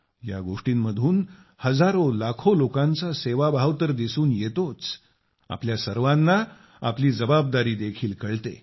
या गोष्टींमधून हजारोलाखो लोकांचा सेवाभाव तर दिसून येतोच आपल्या सर्वांना आपली जबाबदारी देखील कळते